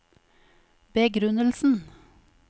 begrunnelsen